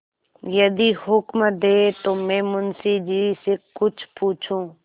यदि हुक्म दें तो मैं मुंशी जी से कुछ पूछूँ